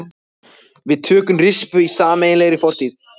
Við tökum rispu í sameiginlegri fortíð.